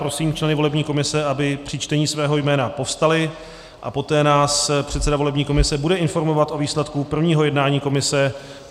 Prosím členy volební komise, aby při čtení svého jména povstali, a poté nás předseda volební komise bude informovat o výsledku prvního jednání komise.